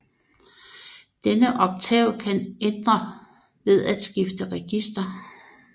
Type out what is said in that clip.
Denne oktav kan ændre ved at skifte register